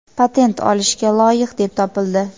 patent olishga loyiq deb topildi!.